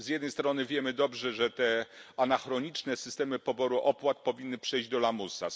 Z jednej strony wiemy dobrze, że te anachroniczne systemy poboru opłat powinny przejść do lamusa.